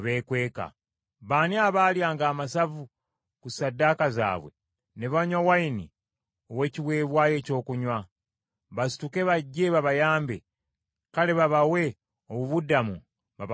Baani abaalyanga amasavu ku ssaddaaka zaabwe, ne banywa envinnyo ey’ekiweebwayo ekyokunywa? Basituke bajje babayambe, kale babawe obubudamo babakuume!